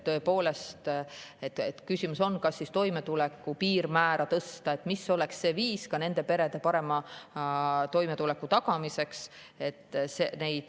Küsimus on, kas toimetuleku piirmäära tõsta ja mil viisil saaks tagada nende perede parema toimetuleku.